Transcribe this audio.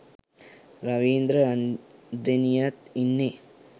රවින්ද්‍ර රන්දෙනියත් ඉන්නේ.